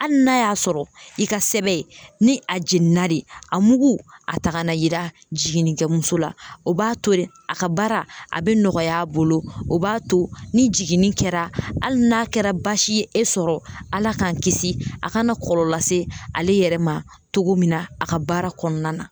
Hali n'a y'a sɔrɔ i ka sɛbɛn ni a jiginna de a mugu a ta kan'a yira jiginnikɛmuso la. O b'a to de a ka baara a bɛ nɔgɔy'a bolo, o b'a to ni jiginni kɛra hali n'a kɛra baasi ye e sɔrɔ ala k'an kisi a kana kɔlɔlɔ lase ale yɛrɛ ma cogo min na a ka baara kɔɔna na.